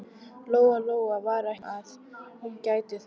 Lóa Lóa var ekki viss um að hún gæti það.